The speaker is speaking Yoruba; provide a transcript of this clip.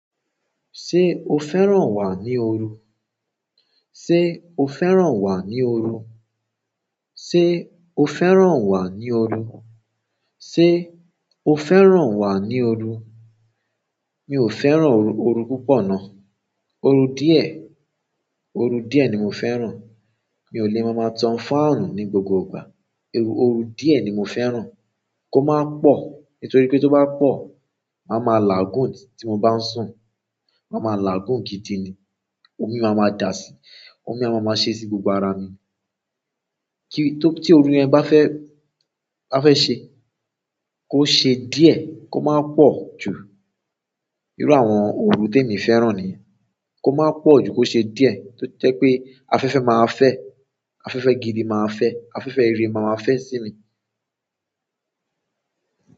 Ṣé o fẹ́ràn wà ní ooru? Ṣé o fẹ́ràn wà ní ooru? Ṣé o fẹ́ràn wà ní ooru? Ṣé o fẹ́ràn wà ní ooru? Mi ò fẹ́ràn ooru, ooru púpọ̀ ná. Ooru díẹ̀, ooru díẹ̀ ni mo fẹ́ràn. Mi ò lè máa máa tan fáànù ní gbogbo ìgbà. Ooru díẹ̀ ni mo fẹ́ràn. Kò máa pọ̀, nítorí pé tó bá pọ̀, màá máa lagun tí mo bá sùn. Màá ma làágùn gidi ni. Omi máa ma dà si, omi a máa ma ṣe sí gbogbo ara mi. Kí, tó, tí ooru yẹn bá fẹ́, bá fẹ́ ṣe, kó ṣe díẹ̀, kó má pọ̀ jù. Irú àwọn ooru tí èmi fẹ́ràn ni. Kó máa pọ̀ ju kó ṣe díẹ̀, tó jẹ́ pé afẹ́fẹ́ máa fẹ́, afẹ́fẹ́ gidi máa fẹ́, afẹ́fẹ́ ire máa fẹ́ sí mi.